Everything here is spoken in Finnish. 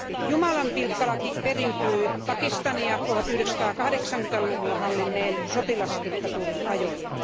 Jumalanpilkkalaki periytyy Pakistania 1980 luvulla hallinneen sotilasdiktatuurin ajoilta.